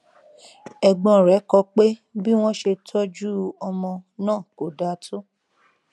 ẹgbọn rẹ kọ pé bí wọn ṣe tọjú ọmọ kó dáa tó